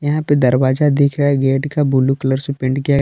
यहां पे दरवाजा दिख रहा है गेट का ब्लू कलर से पेंट किया है।